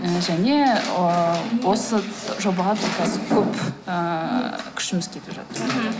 ыыы және ыыы осы жобаға қазір көп ыыы күшіміз кетіп жатыр мхм